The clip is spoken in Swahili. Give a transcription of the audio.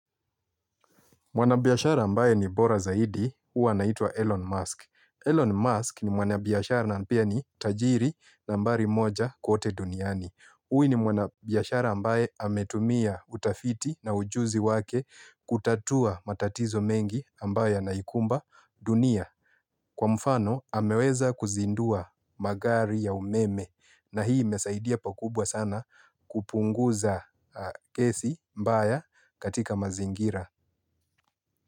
Mwanabiashara ambae ni bora Zaidi, huwa anaitwa Elon Musk. Elon Musk ni mwanabiashara na pia ni tajiri nambari moja kote duniani. Huyu ni mwanabiashara ambae ametumia utafiti na ujuzi wake kutatua matatizo mengi ambayo yanaikumba dunia. Kwa mfano, ameweza kuzindua magari ya umeme na hii imesaidia pakubwa sana kupunguza kesi mbaya katika mazingira.